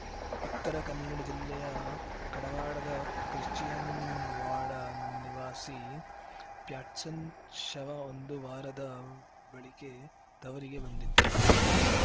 ಉತ್ತರ ಕನ್ನಡ ಜಿಲ್ಲೆಯ ಕಡವಾಡದ ಕ್ರಿಶ್ಚಿಯನ್‌ವಾಡ ನಿವಾಸಿ ಪ್ಯಾಟ್ಸನ್‌ ಶವ ಒಂದು ವಾರದ ಬಳಿಕೆ ತವರಿಗೆ ಬಂದಿತ್ತು